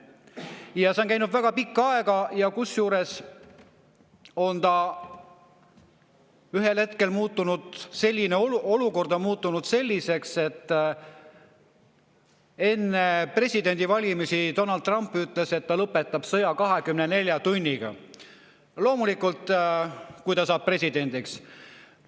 Ja see on käinud väga pikka aega, kusjuures ühel hetkel on olukord muutunud selliseks, et enne presidendivalimisi Donald Trump ütles, et ta lõpetab sõja 24 tunniga – loomulikult siis, kui ta saab presidendiks.